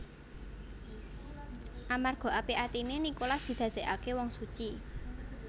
Amarga apik atiné Nikolas didadèkaké wong suci